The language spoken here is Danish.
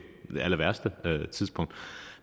allerværste tidspunkt